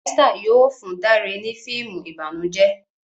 Esther yóò fún Dare ni fíìmù ìbànújẹ